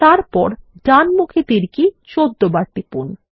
তারপর ডানমুখী তীর কি ১৪ বার টিপুন